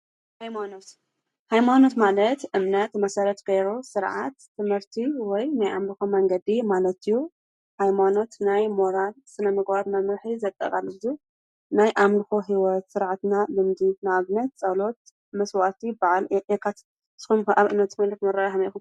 ሃይማኖት-ሃይማኖት ማለት እምነት መሰረት ገይሩ ስርዓት፣ ትምህርቲ ወይ ናይ ኣምልኾ መንገዲ ማለት እዩ፡፡ ሃይማኖት ናይ ሞራል ስነ ምግባር መምርሒ ዘጠቓልል እዩ፡፡ ናይ ኣምልኾ ህይወት ስርዓትና ልምዲ ንኣብነት ጸሎት፣ መስዋእቲ፣ በዓል የካትት፡፡ ንስኹም ከ ኣብ ሃይማኖት ዘለኩም ኣራእያ ከመይ ኢኹም?